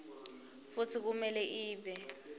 futsi kumele ibe